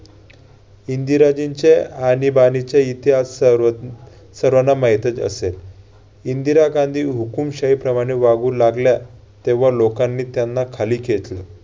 इंदिराजींच्या आणीबाणीच्या इतिहासावरून सर्वांना माहितच असेल. इंदिरा गांधी हुकूमशाहीप्रमाणे वागु लागल्या तेव्हा लोकांनी त्यांना खाली खेचले.